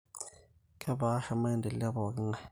Kepaasha maendeleo epong`i ng`ae.